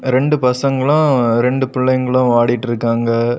ரெண்டு பசங்களு ரெண்டு பிள்ளைகளு ஓடிட்டு இருக்காங்க.